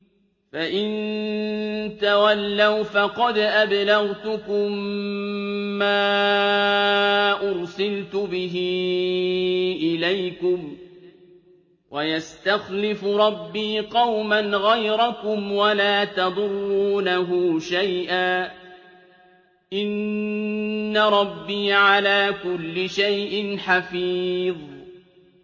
فَإِن تَوَلَّوْا فَقَدْ أَبْلَغْتُكُم مَّا أُرْسِلْتُ بِهِ إِلَيْكُمْ ۚ وَيَسْتَخْلِفُ رَبِّي قَوْمًا غَيْرَكُمْ وَلَا تَضُرُّونَهُ شَيْئًا ۚ إِنَّ رَبِّي عَلَىٰ كُلِّ شَيْءٍ حَفِيظٌ